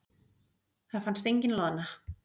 Það fannst engin loðna.